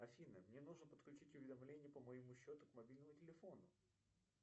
афина мне нужно подключить уведомления по моему счету к мобильному телефону